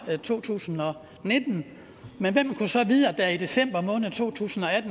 to tusind og nitten men hvem kunne så vide at der i december måned to tusind og